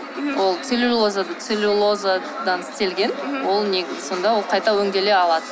ол целлюлозадан істелген сонда ол қайта өңделе алады